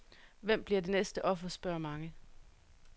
Hvem bliver det næste offer, spørger mange.